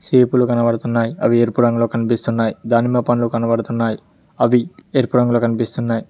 సేపులు కనబడుతున్నాయి అవి ఎరుపు రంగులో కనిపిస్తున్నాయి దానిమ్మ పండ్లు కనబడుతున్నాయి అవి ఎరుపు రంగులో కనిపిస్తున్నాయి.